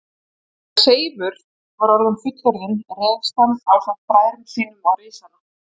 Þegar Seifur var orðinn fullorðinn réðst hann ásamt bræðrum sínum á risana.